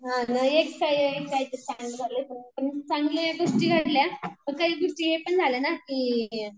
हां ना एक चांगल्या गोष्टी घडल्या पण काही गोष्टी हे पण झाल्या ना की